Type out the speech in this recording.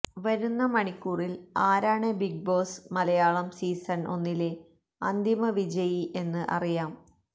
വരുന്ന മണിക്കൂറില് ആരാണ് ബിഗ് ബോസ് മലയാളം സീസണ് ഒന്നിലെ അന്തിമ വിജയി എന്ന് അറിയാം